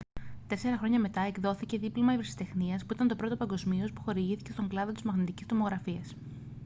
τέσσερα χρόνια μετά εκδόθηκε δίπλωμα ευρεσιτεχνίας που ήταν το πρώτο παγκοσμίως που χορηγήθηκε στον κλάδο της μαγνητικής τομογραφίας